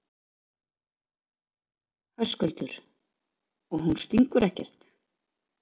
Höskuldur: Og hún stingur ekkert?